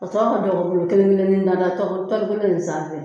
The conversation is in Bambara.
A tɔ ka kɛ kelen kelenni sanfɛ